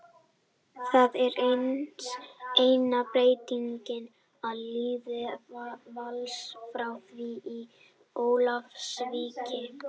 Það er eina breytingin á liði Vals frá því í Ólafsvík.